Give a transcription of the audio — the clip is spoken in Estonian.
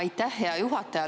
Aitäh, hea juhataja!